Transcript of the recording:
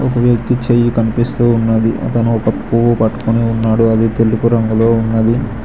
ఒక వ్యక్తి చేయి కనిపిస్తూ ఉన్నది అతను ఒక పువ్వు పట్టుకొని ఉన్నాడు అది తెలుపు రంగులో ఉన్నది.